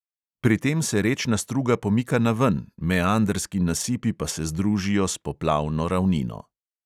Pri tem se rečna struga pomika naven, meandrski nasipi pa se združijo s poplavno ravnino.